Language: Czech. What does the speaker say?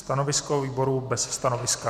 Stanovisko výboru - bez stanoviska.